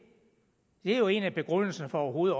er jo en af begrundelserne for overhovedet